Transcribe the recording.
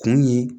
Kun ye